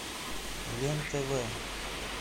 лен тв